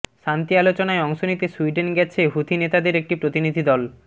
শান্তি আলোচনায় অংশ নিতে সুইডেন গেছে হুথি নেতাদের একটি প্রতিনিধিদল